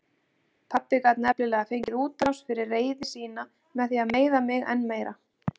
Pabbi gat nefnilega fengið útrás fyrir reiði sína með því að meiða mig enn meira.